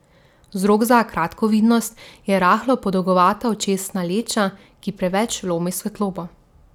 Vzrok za kratkovidnost je rahlo podolgovata očesna leča, ki preveč lomi svetlobo.